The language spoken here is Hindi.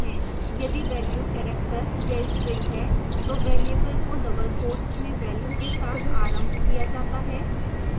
यदि value character या string है तो variable को double quotes में value के साथ आरंभ किया जाता है